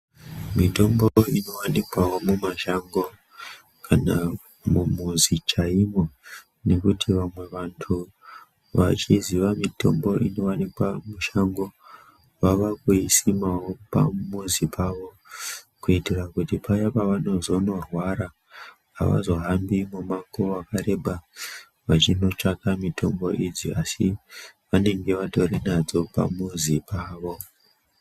Mitombo inovanikwavo mimashango kana mumuzi chaimo. Nekuti vamwe vantu vachiziya mitombo inovanikwa mushango vava kuisimavo pamuzi pavo. Kuitira kuti paya pavanozonorwara hawazohambi mumango vakareba vachinotsvaka mutombo idzi. Asi vanenge vatorinadzo pamuzi pavo.